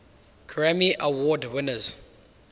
grammy award winners